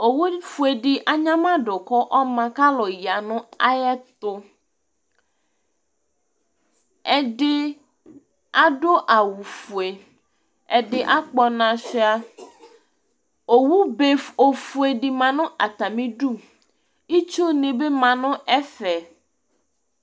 Uwofue dɩ anyama dʋ kʋ ɔma kʋ akʋ ya nʋ ayɛtʋ Ɛdɩ adʋ awʋfue, ɛdɩ akpɔ ɔna sʋɩa Owuebe ofue dɩ ma nʋ atamɩdu Itsunɩ bɩ ma nʋ ɛfɛ